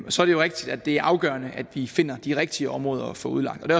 så er det rigtigt at det er afgørende at vi finder de rigtige områder at få udlagt og det